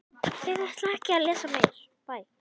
Sólrún fangavörður kom að spjalla við mig áðan.